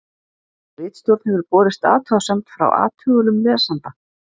Ritstjórn hefur borist athugasemd frá athugulum lesanda.